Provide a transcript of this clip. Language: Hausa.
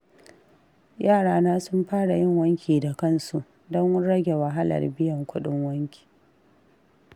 Yarana sun fara yin wanki da kansu, don rage wahalar biyan kuɗin wanki.